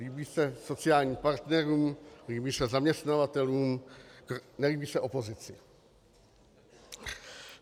Líbí se sociálním partnerům, líbí se zaměstnavatelům, nelíbí se opozici.